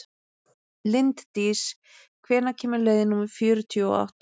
Linddís, hvenær kemur leið númer fjörutíu og átta?